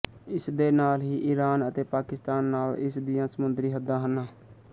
ਇਸ ਦੇ ਨਾਲ ਹੀ ਇਰਾਨ ਅਤੇ ਪਾਕਿਸਤਾਨ ਨਾਲ ਇਸ ਦੀਆਂ ਸਮੁੰਦਰੀ ਹੱਦਾਂ ਹਨ